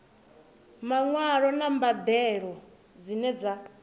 maṅwalo na mbadelo dzine dza